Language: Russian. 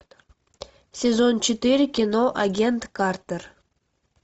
сезон четыре кино агент картер